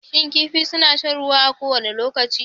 Shin kifi suna shan ruwa a kowane lokaci?